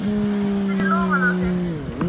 Hún skyrpir í lófana á sér.